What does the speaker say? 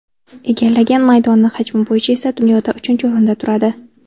Egallagan maydoni hajmi bo‘yicha esa dunyoda uchinchi o‘rinda turadi.